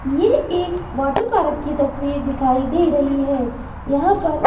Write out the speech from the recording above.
ये एक वाटरपार्क की तस्वीर दिखाई दे रही है यहाँ पर--